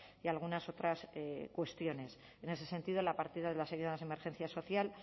y algunas otras cuestiones en ese sentido la partida de las ayudas de emergencia social